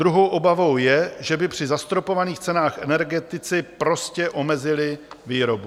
Druhou obavou je, že by při zastropovaných cenách energetici prostě omezili výrobu.